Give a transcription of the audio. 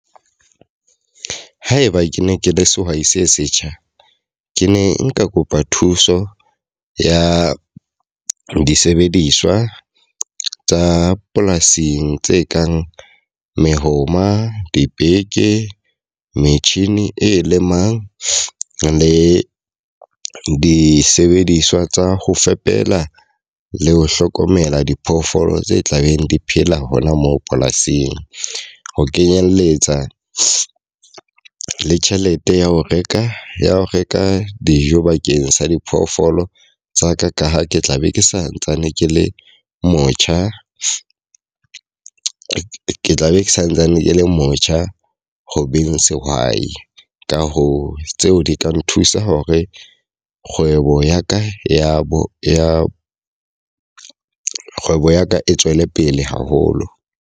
Haeba ke ne ke le sehwai se setjha. Ke ne nka kopa thuso ya disebediswa tsa polasing tse kang mehoma, dibeke, metjhini e lemang le disebediswa tsa ho fepela le ho hlokomela diphoofolo tse tla beng di phela hona moo polasing. Ho kenyelletsa le tjhelete ya ho reka ya ho reka dijo bakeng sa diphoofolo tsa ka ka ha ke tla be ke santsane ke le motjha. Ke tla be ke santsane ke le motjha ho beng sehwai. Ka hoo, tseo di ka nthusa hore kgwebo ya ka ya bo ya kgwebo ya ka e tswele pele haholo.